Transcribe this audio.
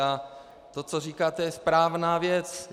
A to, co říkáte, je správná věc.